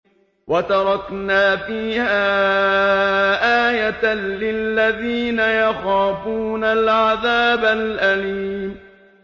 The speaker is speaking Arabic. وَتَرَكْنَا فِيهَا آيَةً لِّلَّذِينَ يَخَافُونَ الْعَذَابَ الْأَلِيمَ